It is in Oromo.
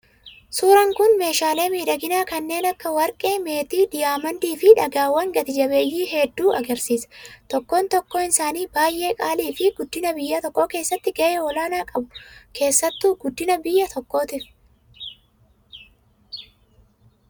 Suuraan kun meeshaalee miidhaginaa kanneen akka warqee, meetii , diyaamandii fi dhagaawwan gati-jabeeyyii hedduu agarsiisa. Tokkoon tokkoonisaanii baay'ee qaalii fi guddina biyya tokkoo keessatti gahee olaanaa qabu keessattuu guddina biyya tokkootiif.